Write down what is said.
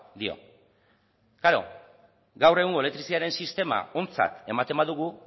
dio klaro gaur egungo elektrizitate sistema ontzak ematen badugu